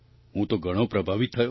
હું તો ઘણો પ્રભાવિત થયો